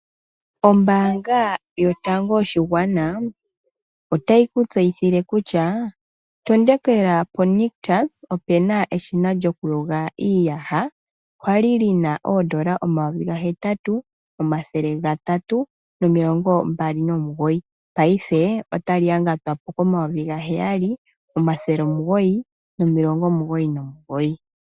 Ombaanga yotango yoshigwana otayi ku tseyithile kutya matukila po Nictus opuna eshina lyokuyoga iiyaha kwali lina oondola omayovi ga hetatu omathele gatatu nomilongo mbali nomugoyi paife otali yangatwapo komayovi ga heyali omathele omugoyi nomilongo omugoyi nomugoyi.